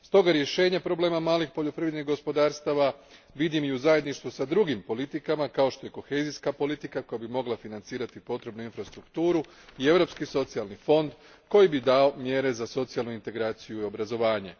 Stoga rješenje problema malih poljoprivrednih gospodarstava vidim i u zajedništvu s drugim politikama, kao što je kohezijska politika, koja bi mogla financirati potrebnu infrastrukturu, i Europski socijalni fond, koji bi dao mjere za socijalnu integraciju i obrazovanje.